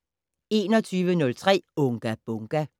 21:03: Unga Bunga!